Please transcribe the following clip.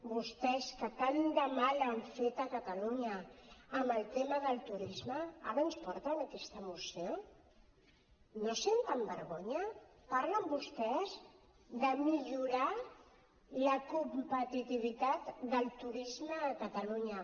vostès que tant de mal han fet a catalunya amb el tema del turisme ara ens porten aquesta moció no senten vergonya parlen vostès de millorar la competitivitat del turisme a catalunya